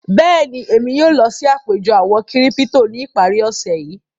Bẹ́ẹ̀ni, èmi yóò lọ sí àpẹ̀jọ òwó-kírípítò ní ìpàrí òṣè yìí.